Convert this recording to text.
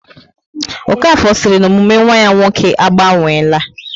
Okafor siri na omume nwa ya nwoke a gbanweela